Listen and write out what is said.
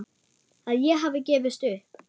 Að ég hafi gefist upp.